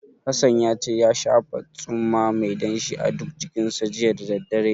Hassan ya ce ya shafa tsumma mai danshi a duk jikinsa, jiya da daddare.